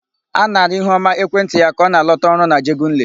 A nara Ihuọma ekwentị ya ka ọ na-alọta ọrụ n'Ajegunle.